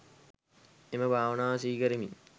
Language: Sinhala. එම භාවනාව සිහි කරමින්